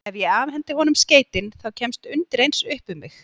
Ef ég afhendi honum skeytin, þá kemst undireins upp um mig.